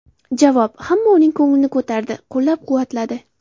Javob: Hamma uning ko‘nglini ko‘tardi, qo‘llab-quvvatladi.